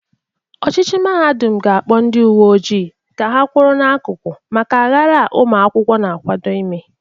Ọchịchị mahadum ga-akpọ ndị uwe ojii ka ha kwọrọ n'akụkụ maka aghara a ụmụakwụkwọ na-akwado ime.